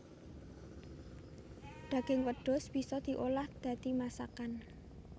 Daging wedhus bisa diolah dadi masakan